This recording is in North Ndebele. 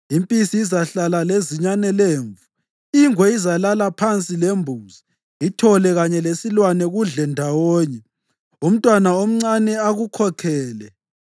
Impisi izahlala lezinyane lemvu, ingwe izalala phansi lembuzi, ithole kanye lesilwane kudle ndawonye; umntwana omncane akukhokhele.